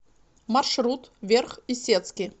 маршрут верх исетский